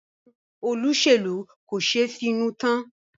Àwọn olóṣèlú kò ṣeé finú tán.